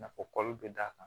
Nafa kɔli bɛ d'a kan